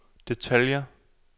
detaljer